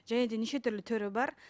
және де нешетүрлі түрі бар